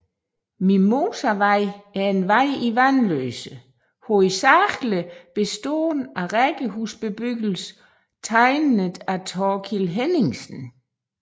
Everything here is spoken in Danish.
Mimosavej er en vej i Vanløse hovedsagligt bestående af rækkehusbebyggelse tegnet af Thorkild Henningsen